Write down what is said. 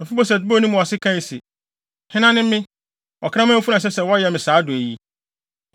Mefiboset bɔɔ ne mu ase kae se, “Hena ne me, ɔkraman funu a ɛsɛ sɛ wɔyɛ me saa adɔe yi?”